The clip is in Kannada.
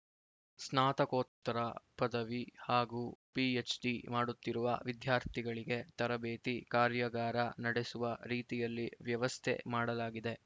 ಸ್ನಾತಕೋತ್ತರ ಪದವಿ ಹಾಗೂ ಪಿಎಚ್‌ಡಿ ಮಾಡುತ್ತಿರುವ ವಿದ್ಯಾರ್ಥಿಗಳಿಗೆ ತರಬೇತಿ ಕಾರ್ಯಗಾರ ನಡೆಸುವ ರೀತಿಯಲ್ಲಿ ವ್ಯವಸ್ಥೆ ಮಾಡಲಾಗಿದೆ